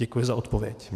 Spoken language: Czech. Děkuji za odpověď.